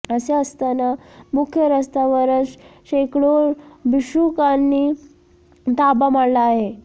असे असताना मुख्य रस्त्यावरच शेकडो भिक्षुकांनी ताबा मारला आहे